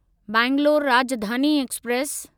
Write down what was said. Bangalore Rajdhani express